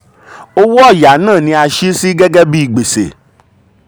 owó ọ̀yà náà ni a sì sí gẹ́gẹ́ um bí gbèsè.